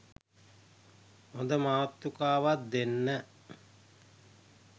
හොඳ මාතෘකාවක් දෙන්න